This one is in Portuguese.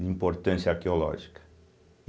de importância arqueológica.